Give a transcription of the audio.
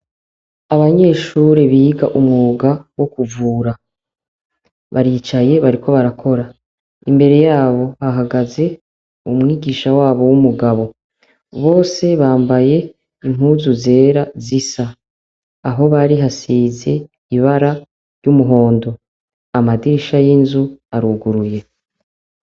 Abanyeshure biga umwuga wo kuvura baricaye bariko barakora imbere yabo hahagaze umwigisha wabo w'umugabo bose bambaye inkuzu zera zisa aho bari hasize ibara ry'umuhondo amairi isha y'inzu aruguruye.